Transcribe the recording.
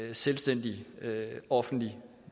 en selvstændig offentlig